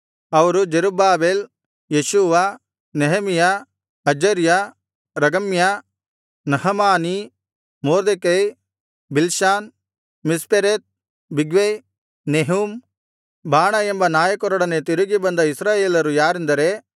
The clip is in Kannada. ಅವರು Zerubbabel Jeshua Nehemiah Azariah Raamiah Nahamani Mordecai Bilshan Mispereth Bigvai Nehum Baanah ಎಂಬ ನಾಯಕರೊಡನೆ ತಿರುಗಿ ಬಂದ ಇಸ್ರಾಯೇಲರು ಯಾರೆಂದರೆ